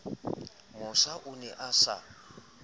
mosa o ne a sa